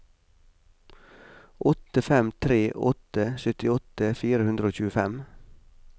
åtte fem tre åtte syttiåtte fire hundre og tjuefem